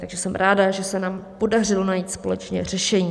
Takže jsem ráda, že se nám podařilo najít společně řešení.